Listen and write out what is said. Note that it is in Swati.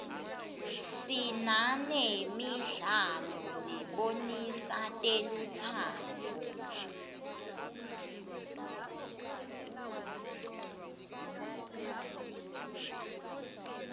sinanemidlalo lebonisa telutsandvo